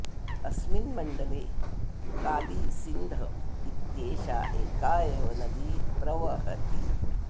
अस्मिन् मण्डले काली सिन्ध इत्येषा एका एव नदी प्रवहति